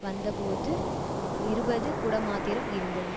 வந்தபோது இருபது குடம்மாத்திரம் இருந்தது